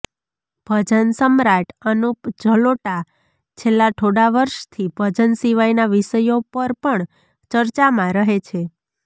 ભજન સમ્રાટ અનુપ જલોટા છેલ્લા થોડા વર્ષથી ભજન સિવાયના વિષયો પર પણ ચર્ચામાં રહે છે